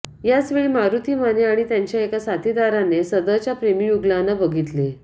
याचवेळी मारूती माने आणि त्यांच्या एका साथीदारांने सदरच्या प्रेंमीयुगुलांना बघितले